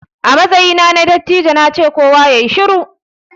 A matsayina na dattijo na ce 'Kowa yayi shiru'!